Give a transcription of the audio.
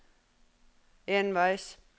enveis